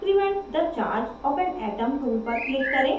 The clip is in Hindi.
decrement the charge of an atom tool पर click करें